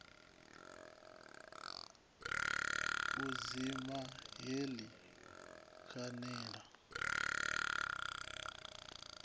u dzima heḽi khan ela